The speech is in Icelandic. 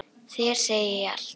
Þér segi ég allt.